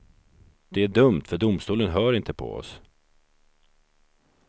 Det är dumt, för domstolen hör inte på oss.